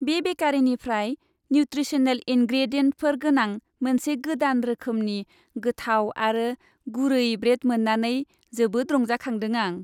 बे बेकारीनिफ्राय न्युत्रिसनेल इनग्रेडियेन्टफोर गोनां मोनसे गोदान रोखोमनि गोथाव आरो गुरै ब्रेड मोन्नानै जोबोद रंजाखांदों आं।